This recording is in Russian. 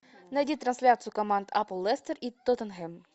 найди трансляцию команд апл лестер и тоттенхэм